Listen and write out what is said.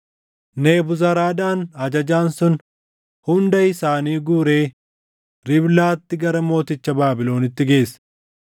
Nebuzaradaan ajajaan sun hunda isaanii guuree Riiblaatti gara mooticha Baabilonitti geesse.